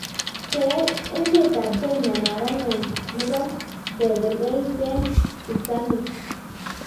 kiyai emetab China maranet nep kekerkeiten "titanic"